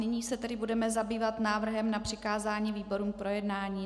Nyní se tedy budeme zabývat návrhem na přikázání výborům k projednání.